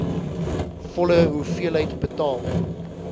volle hoeveelheid betaal